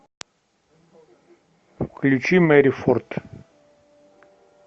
включи мэри форд